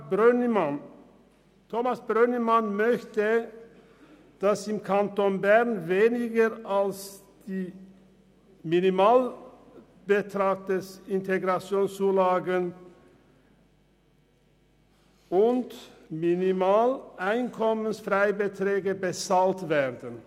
Zum Antrag Brönnimann/glp: Der Antragsteller möchte, dass im Kanton Bern weniger als das Minimum an IZU und EFB bezahlt wird.